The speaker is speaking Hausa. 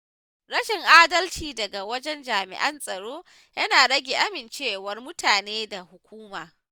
Rashin adalci daga wajen jami’an tsaro yana rage amincewar mutane da hukuma.